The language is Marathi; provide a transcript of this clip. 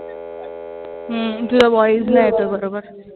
हम्म तुझा voice नाई येतंय बरोबर.